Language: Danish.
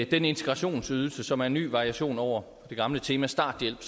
af den integrationsydelse som er en ny variation over det gamle tema starthjælp